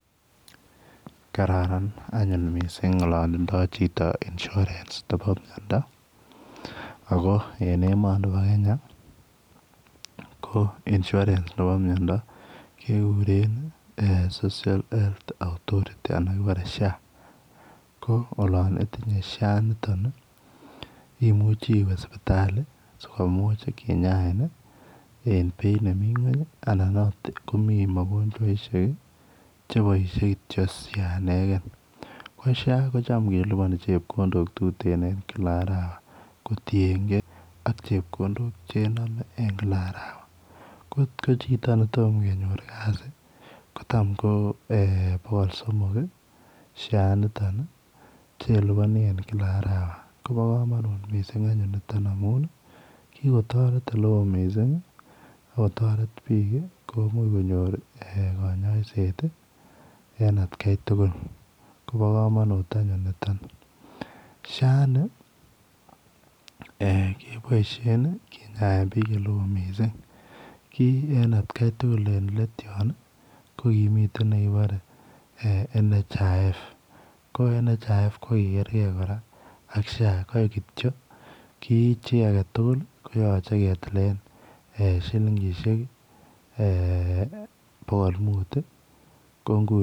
Kararan anyun mising ngalalindo yanindoi Chito insurance Nebo meindo en emani Nebo Kenya ko insurance Nebo meindo kekuren social health authority anan kebare shako olon itinye Sha initon imuche iwe sibitali sikomuch kinyain en Beit nemiten ngweny anan notonnmi magojaishwek chebaishe kityo Sha ineken ko Sha kotam kelubani chepkondok tuten en kila arawa kotiyengei chepkondok chename en kila arawa kotko Chito netomo konyor kasit kotam KO bokol somok Sha initon chelubani en kila arawa Koba kamanut mising niton anyun amun kikotaret oleon mising akotaret bik sikonyor kanyaiset en atgai tugul Koba kamanut anyun niton Sha ini kebaishen Kenya en bik oleon mising ki en atgai tugul en let yon kokimiten nekebare NHIF national health insurance authority ko NHIF kokigergei ak Sha kaik kityo ki chi agetugul koyache ketilen shilingishek bokol mut